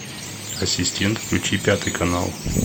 ассистент включи пятый канал